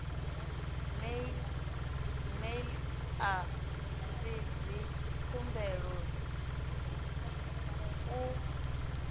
mail a si dzikhumbelo u